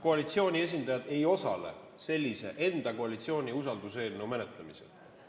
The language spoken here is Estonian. Koalitsiooni esindajad ei osale sellise enda, koalitsiooni usalduseelnõu menetlemisel!